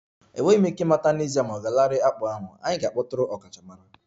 Enweghị m ike ịmata n'ezie ma ọ ga-alanarị akpụ ahụ, anyị ga-akpọtụrụ ọkachamara